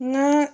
Ni